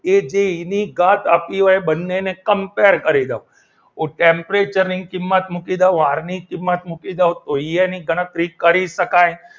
એ એની ઘાત આપી હોય તે બંનેને compare કરી લો હું temperature ની કિંમત મૂકી દઉં આર ની કિંમાર મૂકી દઉ તો એ એની ગણતરી કરી શકાય.